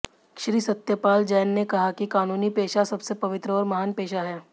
श्री सत्य पाल जैन ने कहा कि कानूनी पेशा सबसे पवित्र और महान पेशा है